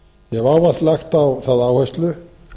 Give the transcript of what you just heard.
ég hef ávallt lagt á það áherslu